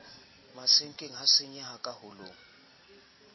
masenkeng ha senyeha ka holong